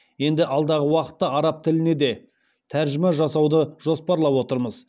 енді алдағы уақытта араб тіліне де тәржіма жасауды жоспарлап отырмыз